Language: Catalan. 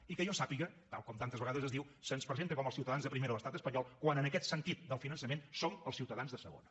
i que jo sàpiga tal com tantes vegades es diu se’ns presenta com els ciutadans de primera a l’estat espanyol quan en aquest sentit del finançament som els ciutadans de segona